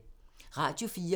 Radio 4